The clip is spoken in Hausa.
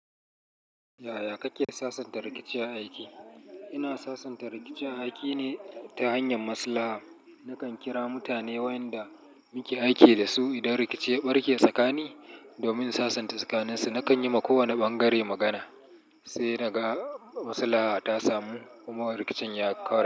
Yaya kake sasanta rikici a aiki? Ina sasanta rikici aiki ne ta hanyar maslaha. Nakan kira mutane wayanda muke aiki da su idan rikici ya barke tsakanin, domin sasanta tsakaninsu. Nakan yi ma kowane bangare magana, sai kaga maslaha ta samu kuma rikicin ya ƙare.